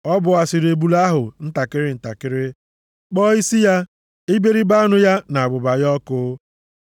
Ọ bọwasịrị ebule ahụ ntakịrị ntakịrị, kpọọ isi ya, iberibe anụ ya na abụba ya ọkụ.